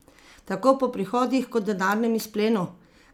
Tako po prihodih kot denarnem izplenu?